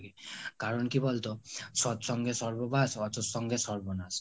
কারণ কি বলতো- সৎ সঙ্গে স্বর্গবাস অসৎ সঙ্গে সর্বনাশ